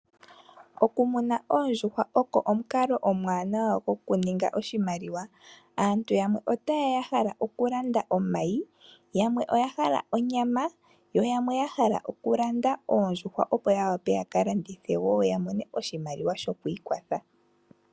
Okumuna oondjuhwa ogo omukalo omuwanawa gokuninga oshimaliwa, aantu yamwe ota yeya yahala okulanda omayi yamwe oyahala onyama yo yamwe yahala okulanda oondjuhwa opo yawape yakalandithe wo yamone oshimaliwa sho kuiikwatha.